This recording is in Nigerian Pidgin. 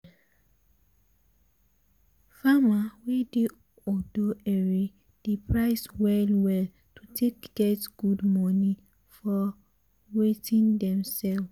farmer wey dey odo ere dey price well well to take get good money for watin dem sell.